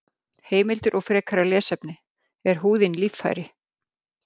Heimildir og frekara lesefni: Er húðin líffæri?